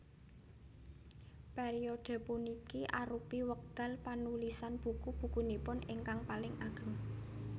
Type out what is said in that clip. Periode puniki arupi wekdal panulisan buku bukunipun ingkang paling ageng